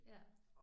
Ja